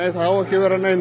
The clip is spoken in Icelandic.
það á ekki að vera nein